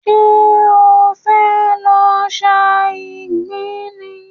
Ṣé e fẹ́ lọ sa ìgbín ni?